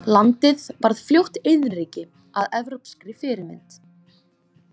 Landið varð fljótt iðnríki að evrópskri fyrirmynd.